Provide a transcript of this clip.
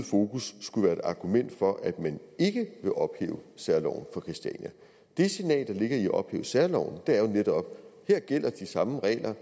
fokus skulle være et argument for at man ikke vil ophæve særloven for christiania det signal der ligger i at ophæve særloven er jo netop der gælder de samme regler